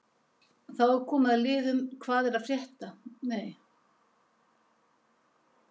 Þá er komið að liðnum Hvað er að frétta?